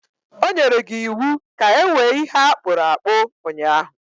O nyere gi iwu ka ewee ihe a kpụrụ akpụ ụnyahụ